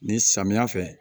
Ni samiya fɛ